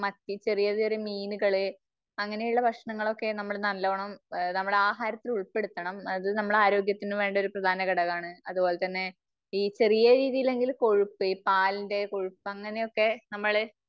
മത്തി ചെറിയ ചെറിയ മീനുകള് അങ്ങനെയുള്ള ഭക്ഷണങ്ങളൊക്കെ നമ്മള് നല്ലോണം നമ്മടെ ആഹാരത്തില് ഉൾപ്പെടുത്തണം. അത് നമ്മളെ ആരോഗ്യത്തിന് വേണ്ട ഒരു പ്രധാന ഘടകമാണ്. അത്പോലെ തന്നെ ഈ ചെറിയ രീതിയിലെങ്കിലും കൊഴുപ്പ് ഈ പാലിന്റെ കൊഴുപ്പ് അങ്ങനെയൊക്കെ നമ്മള്